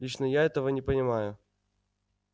лично я этого не понимаю